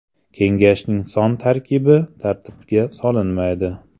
Kengashning son tarkibi tartibga solinmaydi.